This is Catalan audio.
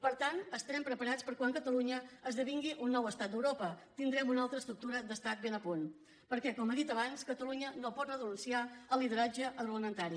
per tant estarem preparats per a quan catalunya esdevingui un nou estat d’europa tindrem una altra estructura d’estat ben a punt perquè com he dit abans catalunya no pot renunciar al lideratge agroalimentari